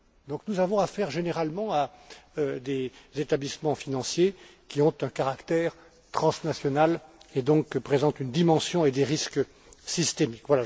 Donc nous avons affaire généralement à des établissements financiers qui ont un caractère transnational et présentent par conséquent une dimension et des risques systémiques.